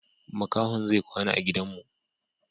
Makahon zai kwana a gidan mu.